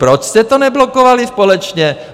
Proč jste to neblokovali společně?